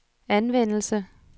anvendelse